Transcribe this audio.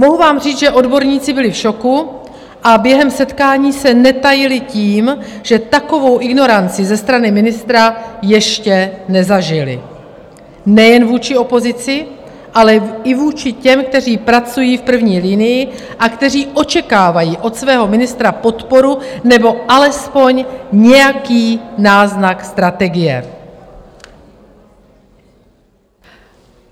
Mohu vám říct, že odborníci byli v šoku a během setkání se netajili tím, že takovou ignoranci ze strany ministra ještě nezažili, nejen vůči opozici, ale i vůči těm, kteří pracují v první linii a kteří očekávají od svého ministra podporu, nebo alespoň nějaký náznak strategie.